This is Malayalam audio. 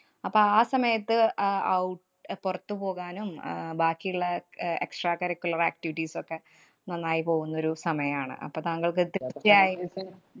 അപ്പൊ ആ സമയത്ത് അഹ് out അഹ് പുറത്തുപോകാനും അഹ് ബാക്കിയുള്ള ആഹ് extracurricular activities ഒക്കെ നന്നായി പോകുന്ന ഒരു സമയാണ്. അപ്പൊ താങ്കള്‍ക്ക് കൃത്യായി